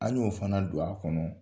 An y'o fana don a kɔnɔ.